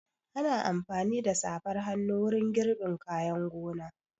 Ana amfani da safar hannu wurin girbin kayan gona.